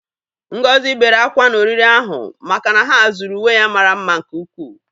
Ngozi bere ákwá n'oriri ahụ maka na ha zuru uwe ya mara mma nke ukwu.